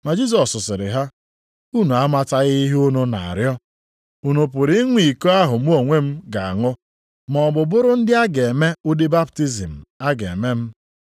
Ma Jisọs sịrị ha, “Unu amataghị ihe unu na-arịọ. Unu pụrụ ịṅụ iko ahụ mụ onwe m ga-aṅụ maọbụ bụrụ ndị a ga-eme ụdị baptizim a ga-eme m?”